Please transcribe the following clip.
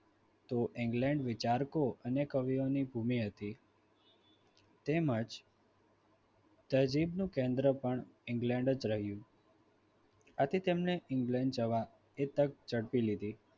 સમૂહ લગ્નમાં તો England વિચારકો અને કવિઓની ભૂમિ હતી તેમજ નજીકનું કેન્દ્ર પણ England જ રહ્યું આથી તેમણે England જવા આતક ઝડપી લીધી.